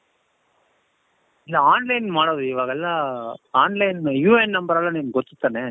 ಈಗ online ಮಾಡದು ಇವಾಗೆಲ್ಲಾ online UN number ಎಲ್ಲ ನಿoಗೆ ಗೊತ್ತು ತಾನೇ?